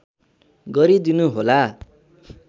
गरिदिनु होला